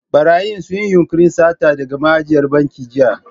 Ɓarayin sun yi yunƙurin sata daga ma'ajiyar bankin jiya.